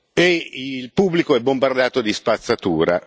E il pubblico è bombardato da spazzatura.